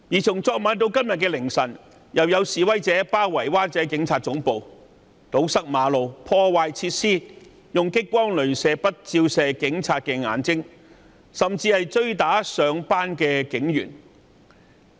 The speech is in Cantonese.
從昨晚至今天凌晨，再次有示威者包圍灣仔警察總部，堵塞馬路，破壞設施，用激光雷射筆照射警察眼睛，甚至追打上班的警員。